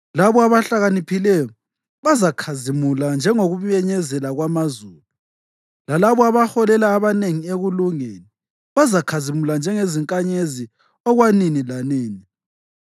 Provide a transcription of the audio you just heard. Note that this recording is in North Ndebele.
Labo abahlakaniphileyo bazakhazimula njengokubenyezela kwamazulu, lalabo abaholela abanengi ekulungeni, bazakhazimula njengezinkanyezi okwanini lanini.